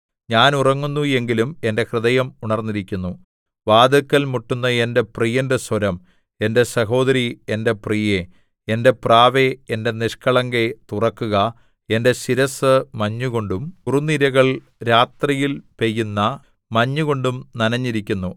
ഞാൻ ഉറങ്ങുന്നു എങ്കിലും എന്റെ ഹൃദയം ഉണർന്നിരിക്കുന്നു വാതില്ക്കൽ മുട്ടുന്ന എന്റെ പ്രിയന്റെ സ്വരം എന്റെ സഹോദരീ എന്റെ പ്രിയേ എന്റെ പ്രാവേ എന്റെ നിഷ്കളങ്കേ തുറക്കുക എന്റെ ശിരസ്സ് മഞ്ഞുകൊണ്ടും കുറുനിരകൾ രാത്രിയിൽ പെയ്യുന്ന മഞ്ഞുകൊണ്ടും നനഞ്ഞിരിക്കുന്നു